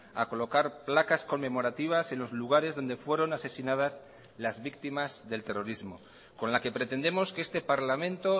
a colocar placas conmemorativas en los lugares donde fueron asesinadas las víctimas del terrorismo con la que pretendemos que este parlamento